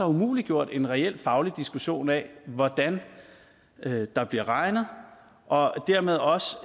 umuliggjort en reel faglig diskussion af hvordan der bliver regnet og dermed også